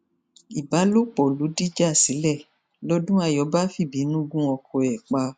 ìbálòpọ ló dìjà sílẹ lodúnnayọ bá fìbínú gun ọkọ ẹ pa